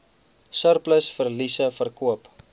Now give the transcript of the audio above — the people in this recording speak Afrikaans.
surplus verliese verkoop